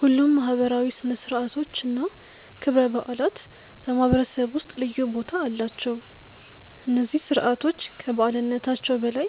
ሁሉም ማህበራዊ ሥነ ሥርዓቶች እና ክብረ በዓላት በማህበረሰቡ ውስጥ ልዩ ቦታ አላቸው። እነዚህ ስርዓቶች ከበዓልነታቸው በላይ